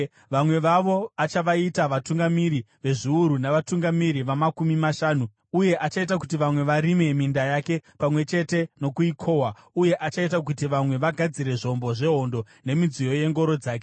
Vamwe vavo achavaita vatungamiri vezviuru navatungamiri vamakumi mashanu, uye achaita kuti vamwe varime minda yake pamwe chete nokuikohwa, uye achaita kuti vamwe vagadzire zvombo zvehondo nemidziyo yengoro dzake.